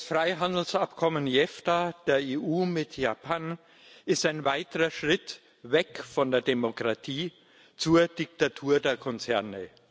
Das Freihandelsabkommen JEFTA der EU mit Japan ist ein weiterer Schritt weg von der Demokratie zur Diktatur der Konzerne.